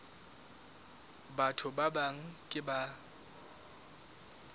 batho ba bang ke ba